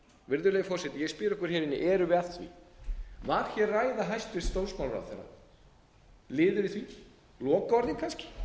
virðulegi forseti ég spyr ykkur hér inni erum við að því var hér ræða hæstvirtur dómsmálaráðherra liður í því lokaorðin kannski